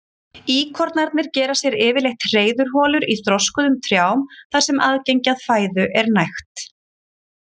Íkornarnir gera sér yfirleitt hreiðurholur í þroskuðum trjám þar sem aðgengi að fæðu er nægt.